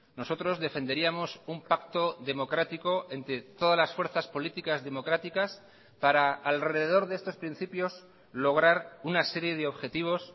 nosotros defenderíamos un pacto democrático entre todas las fuerzas políticas democráticas para alrededor de estos principios lograr una serie de objetivos